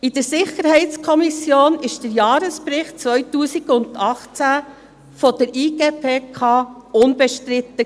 In der SiK war der Jahresbericht 2018 der IGPK unbestritten.